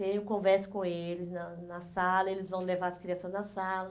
Tenho. Eu converso com eles na na sala, eles vão levar as crianças na sala.